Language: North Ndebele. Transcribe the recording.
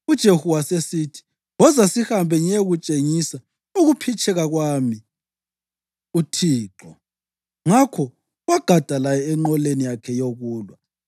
UJehu wasesithi, “Woza sihambe ngiyekutshengisa ukuphitshekela kwami uThixo.” Ngakho wagada laye enqoleni yakhe yokulwa.